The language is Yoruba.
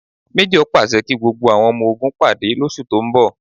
Méjọ̀ pàṣẹ kí gbogbo àwọn ọmọ ogun pàdé lóṣù tó ń bọ̀